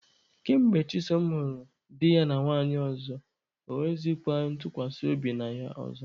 Ka mgbe Chisom hụrụ di ya na nwanyị ọzọ, ọ nweghịzịkwa ntụkwasị obi na ya ọzọ.